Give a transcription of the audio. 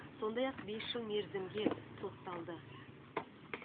сондай ақ бес жыл мерзімге сотталды